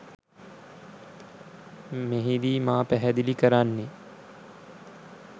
මෙහිදී මා පැහැදිලි කරන්නේ